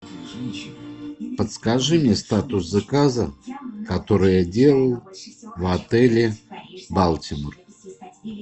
подскажи мне статус заказа который я делал в отеле балтимор